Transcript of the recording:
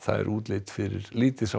er útlit fyrir